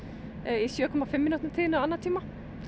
í sjö komma fimm mínútna tíðni á annatíma